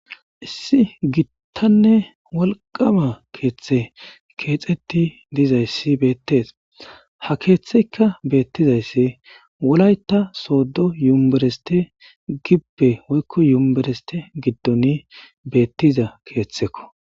Issi gittanne walqama keeththe keexetti dizayssi beettees ha keeththeykka beettizayssi wolay ta sooddo yumereste gibbe woykko yumbereste giddoni beettiza keeththekko.